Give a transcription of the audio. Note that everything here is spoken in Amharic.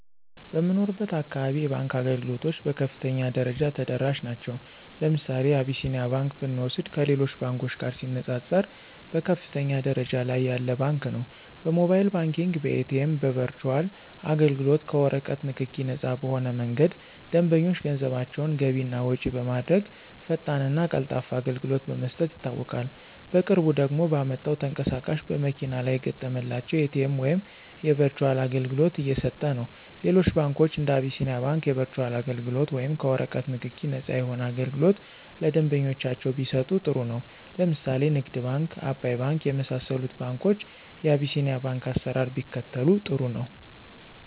በምኖርበት አካባቢ የባንክ አገልግሎቶች በከፍተኛ ደረጃ ተደራሽ ናቸዉ። ለምሳሌ አብሲኒያ ባንክ ብንወስድ ከሌሎች ባንኮች ጋር ሲነፃፀር በከፍተኛ ደረጃ ላይ ያለ ባንክ ነው። በሞባይል ባንኪንግ፣ በኤቲኤም፣ በበርቹአል አገልግሎት፣ ከወረቀት ንክኪ ነፃ በሆነ መንገድ ደንበኞች ገንዘባቸውን ገቢ እና ወጭ በማድረግ ፈጣንና ቀልጣፋ አገልግሎት በመስጠት ይታወቃል። በቅርቡ ደግሞ ባመጣው ተንቀሳቃሽ በመኪና ላይ የተገጠመላቸው የኤቲኤም ወይም የበርቹአል አገልግሎት እየሰጠነው። ሌሎች ባንኮች እንደ አቢስኒያ ባንክ የበርቹአል አገልግሎት ወይም ከወረቀት ንክኪ ነፃ የሆነ አገልግሎት ለደንበኞቻቸው ቢሰጡ ጥሩ ነው። ለምሳሌ ንግድ ባንክ፣ አባይ ባንክ የመሳሰሉት ባንኮች የቢሲኒያን ባንክ አሰራር ቢከተሉ ጥሩ ነው።